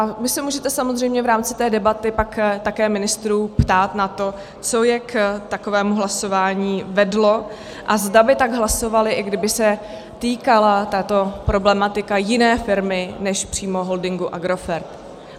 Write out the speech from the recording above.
A vy se můžete samozřejmě v rámci té debaty pak také ministrů ptát na to, co je k takovému hlasování vedlo a zda by tak hlasovali, i kdyby se týkala tato problematika jiné firmy než přímo holdingu Agrofert.